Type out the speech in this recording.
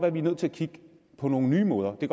at vi er nødt til at kigge på nogle nye måder det